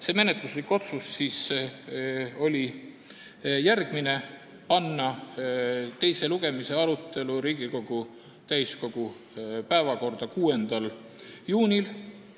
See menetluslik otsus oli järgmine: panna teise lugemise arutelu Riigikogu täiskogu päevakorda 6. juuniks.